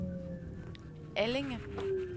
Allinge